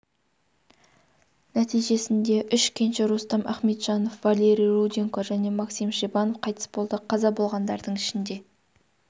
нәтижесінде үш кенші рустам ахметжанов валерий руденко және максим шебанов қайтыс болды қаза болғандардың ішінде